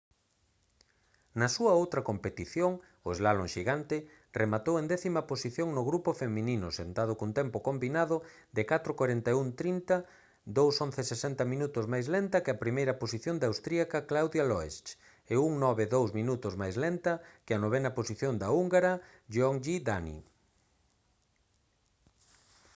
na súa outra competición o slálom xigante rematou en 10.ª posición no grupo feminino sentado cun tempo combinado de 4:41.30 2:11.60 minutos máis lenta que a primeira posición da austríaca claudia loesch e 1:09.02 minutos máis lenta que a 9.ª posición da húngara gyöngyi dani